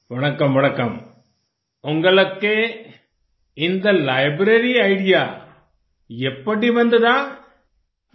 वणकम्म वणकम्म उन्गलक्के इन्द लाइब्रेरी आइडिया येप्पड़ी वन्ददा